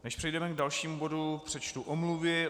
Než přejdeme k dalšímu bodu, přečtu omluvy.